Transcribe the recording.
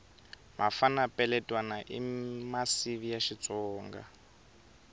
mafana peletwana i masivi ya xitsonga